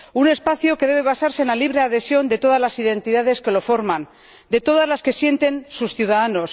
Un espacio que debe basarse en la libre adhesión de todas las identidades que lo forman, de todas las que sienten sus ciudadanos.